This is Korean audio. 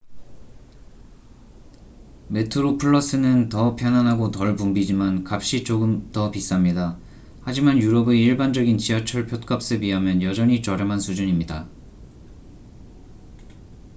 메트로플러스는 더 편안하고 덜 붐비지만 값이 조금 더 비쌉니다 하지만 유럽의 일반적인 지하철 푯값에 비하면 여전히 저렴한 수준입니다